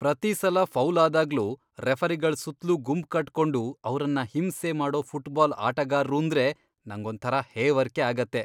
ಪ್ರತೀ ಸಲ ಫೌಲ್ ಆದಾಗ್ಲೂ ರೆಫರಿಗಳ್ ಸುತ್ಲೂ ಗುಂಪ್ಕಟ್ಕೊಂಡು ಅವ್ರನ್ನ ಹಿಂಸೆ ಮಾಡೋ ಫುಟ್ಬಾಲ್ ಆಟಗಾರ್ರೂಂದ್ರೆ ನಂಗೊಂಥರ ಹೇವರ್ಕೆ ಆಗತ್ತೆ.